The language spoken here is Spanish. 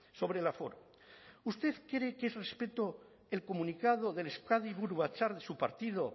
sobre el aforo usted cree que es respeto el comunicado del euskadi buru batzar de su partido